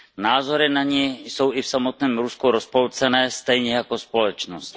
Názory na ni jsou i v samotném Rusku rozpolcené stejně jako společnost.